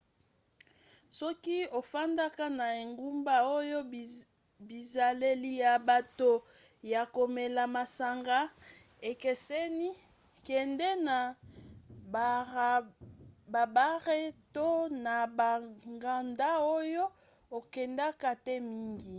soki ofandaka na engumba oyo bizaleli ya bato ya komela masanga ekeseni kende na babare to na banganda oyo okendaka te mingi